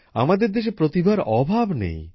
আমাদের দেশে প্রতিভার অভাব নেই